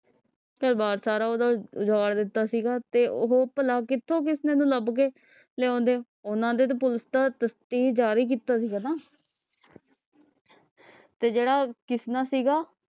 ਘਰ ਬਾਰ ਸਾਰਾ ਓਹਦਾ ਉਜਾੜ ਦਿਤਾ ਸੀਗਾ ਤੇ ਉਹ ਭਲਾ ਕਿਥੋਂ ਕਿਸਨੇ ਨੂੰ ਲੱਭ ਕੇ ਲਿਉਂਦੇ ਉਹਨਾਂ ਦੇ ਤਾਂ ਜਾਰੀ ਕੀਤਾ ਸੀਗਾ ਨਾ ਤੇ ਜੇੜਾ ਕਿਸਨਾ ਸੀਗਾ